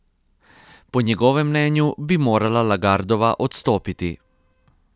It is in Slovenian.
Po njegovem mnenju bi morala Lagardova odstopiti.